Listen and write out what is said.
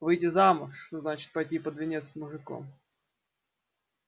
выйти замуж значит пойти под венец с мужиком